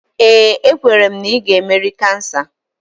Ee, ekwere m na ị ga-emeri kansa